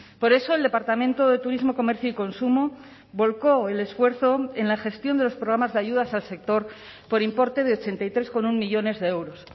por eso el departamento de turismo comercio y consumo volcó el esfuerzo en la gestión de los programas de ayudas al sector por importe de ochenta y tres coma uno millónes de euros